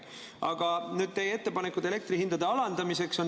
Aga nüüd teie ettepanekud elektrihindade alandamiseks.